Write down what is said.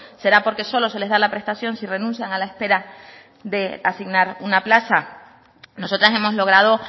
será porque solo se les da la prestación si renuncian a la espera de asignar una plaza nosotras hemos logrado